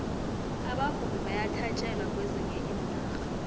abavumi bayathatjelwa kwezinye iinarha